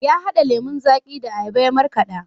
Ya hada lemon zaƙi da ayaba ya markada.